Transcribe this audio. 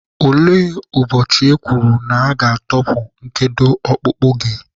Olee ụbọchị e kwuru na aga-atọpụ nkedo ọkpụkpụ gị?